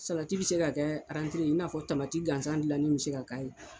Salati be se ka kɛ arantee ye i n'a fɔ tamamati gansan gilanni be se ka k'a ye.